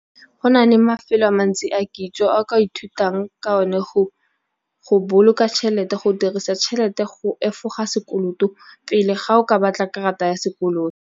Go na le mafelo a mantsi a kitso a ka ithutang ka one go boloka tšhelete, go dirisa tšhelete, go efoga sekoloto pele ga o ka batla karata ya sekoloto.